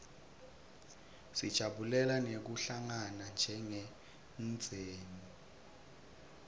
sijabulela nekuhlangana njengemndzeni